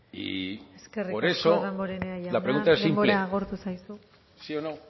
y por eso eskerrik asko damborenea jauna denbora agortu zaizu la pregunta es simple sí o no